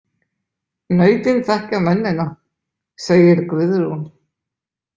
Nautin þekkja mennina, segir Guðrún.